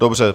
Dobře.